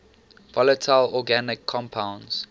volatile organic compounds